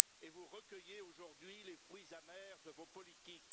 Vous recueillez aujourd'hui les fruits amers de vos politiques.